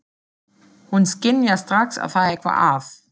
Hún skynjar strax að það er eitthvað að.